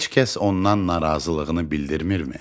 Heç kəs ondan narazılığını bildirmirmi?